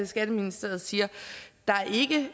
skatteministeriet siger at der ikke